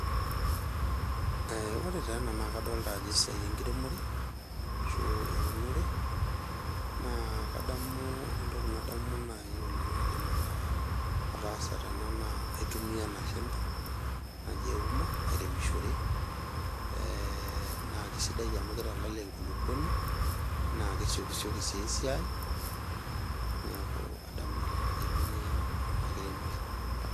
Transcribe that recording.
Ee ore taa ena naa kadolita ajo esiai enkiremore ashu esiai eunore . Naa kadamu naji oleng naidim ataa ataasa tena naa aitumia ena shembe naji euma airemishore ,ee naa kisidai amu kitalala enkulukuoni naa kesioki sioki sii esiai , niaku adamu naleng ajo aitumia ena kiremore.